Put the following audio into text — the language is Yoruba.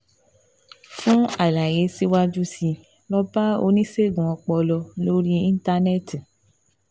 Fún àlàyé síwájú sí i, lọ bá oníṣègùn ọpọlọ lórí Íńtánẹ́ẹ̀tì